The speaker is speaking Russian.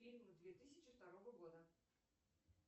фильмы две тысячи второго года